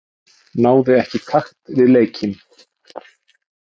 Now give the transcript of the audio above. Náði ekki takt við leikinn.